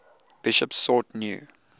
bishops sought new